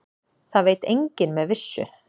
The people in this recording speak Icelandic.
Það veit enginn með vissu.